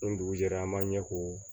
Ni dugu jɛra an b'a ɲɛ ko